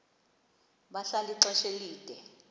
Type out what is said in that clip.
bahlala ixesha elide